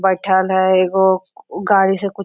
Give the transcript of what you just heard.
बैठल है एक गो गाड़ी से --